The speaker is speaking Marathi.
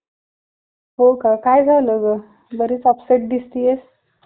तिकडं नका घेऊ दुसरं घ्या.